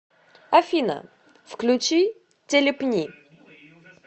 афина включи телепни